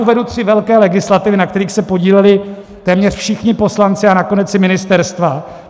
Uvedu tři velké legislativy, na kterých se podíleli téměř všichni poslanci a nakonec i ministerstva.